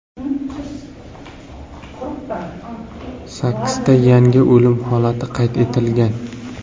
Sakkizta yangi o‘lim holati qayd etilgan.